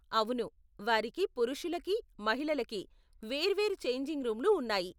అవును, వారికి పురుషులకి, మహిళలకి వేర్వేరు ఛేంజింగ్ రూములు ఉన్నాయి .